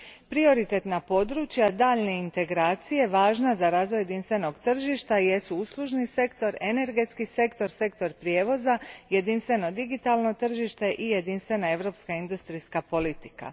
Prioritetna područja daljnje integracije važna za razvoj jedinstvenog tržišta jesu uslužni sektor, energetski sektor, sektor prijevoza, jedinstveno digitalno tržište i jedinstvena europska industrijska politika.